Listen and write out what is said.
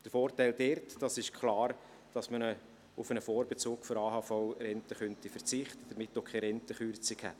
Der Vorteil dort: Es ist klar, dass man auf einen Vorbezug der AHV-Rente verzichten könnte und damit auch keine Rentenkürzung hätte.